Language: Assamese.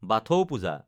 বাথৌ পূজা